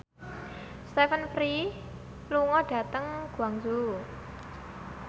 Stephen Fry lunga dhateng Guangzhou